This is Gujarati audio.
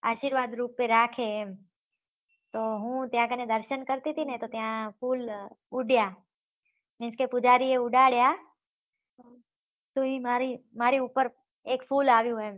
આશીર્વાદ રૂપે રાખે તો હું ત્યાં કને દર્શન કરતી તી ને તો ત્યાં ફૂલ ઉડ્યા Means કે પુજારી એ ઉડયા તો ઈ મારી મારી ઉપર એક ફૂલ આવ્યું એમ